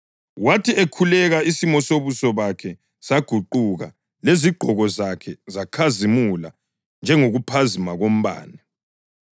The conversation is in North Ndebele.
Wathi ekhuleka isimo sobuso bakhe saguquka lezigqoko zakhe zakhazimula njengokuphazima kombane.